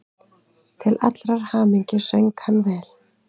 Til allrar hamingju söng hann vel!